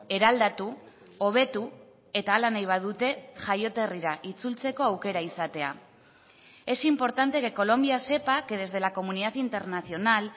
eraldatu hobetu eta hala nahi badute jaioterrira itzultzeko aukera izatea es importante que colombia sepa que desde la comunidad internacional